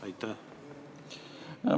Kui suur summa see on?